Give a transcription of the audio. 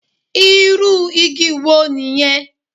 Irú igi wo nìyẹn.